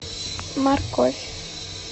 морковь